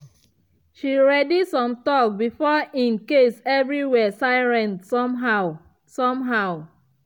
she ready some talk before in case everywhere silent somehow. somehow.